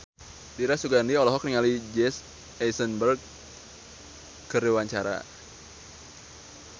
Dira Sugandi olohok ningali Jesse Eisenberg keur diwawancara